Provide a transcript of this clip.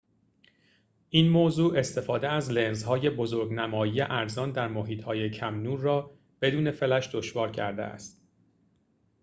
این موضوع استفاده از لنزهای بزرگ‌نمایی ارزان در محیط‌های کم‌نور را بدون فلش دشوار کرده است